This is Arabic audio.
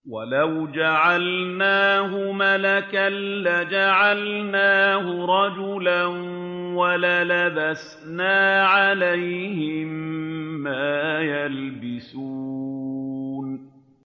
وَلَوْ جَعَلْنَاهُ مَلَكًا لَّجَعَلْنَاهُ رَجُلًا وَلَلَبَسْنَا عَلَيْهِم مَّا يَلْبِسُونَ